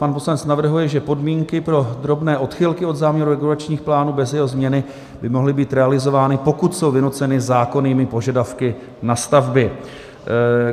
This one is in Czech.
Pan poslanec navrhuje, že podmínky pro drobné odchylky od záměru regulačních plánů bez jeho změny by mohly být realizovány, pokud jsou vynuceny zákonnými požadavky na stavby.